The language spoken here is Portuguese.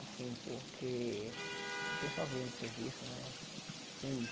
Assim, porque... Pessoal vinha do serviço, né?